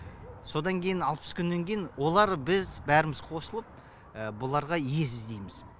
содан кейін алпыс күннен кейін олар біз бәріміз қосылып бұларға үй іздейміз